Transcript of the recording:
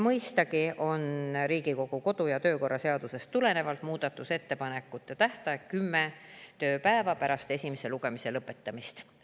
Mõistagi on Riigikogu kodu‑ ja töökorra seadusest tulenevalt muudatusettepanekute tähtaeg kümme tööpäeva pärast esimese lugemise lõpetamist.